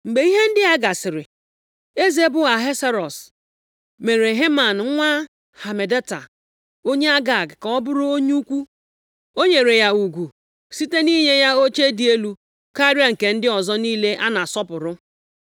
Mgbe ihe ndị a gasịrị, eze bụ Ahasuerọs mere Heman nwa Hamedata onye Agag ka ọ bụrụ onye ukwu, o nyere ya ugwu site nʼinye ya oche dị elu karịa nke ndị ọzọ niile a na-asọpụrụ.